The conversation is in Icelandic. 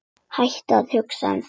Hættu að hugsa um þetta.